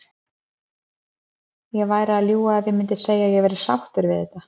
Ég væri að ljúga ef ég myndi segja að ég væri sáttur við þetta.